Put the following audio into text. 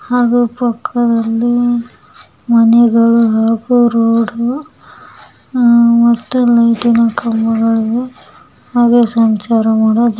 ಹಾಗೂ ಪಕ್ಕದಲ್ಲಿ ಮನೆಗಳು ಹಾಗೂ ರೋಡು ಮತ್ತುಲೈಟಿನ ಕಂಬಗಳು ಅದೇ ಸಂಚಾರ ಮಾಡುವ ಜಾ--